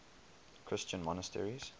christian monasteries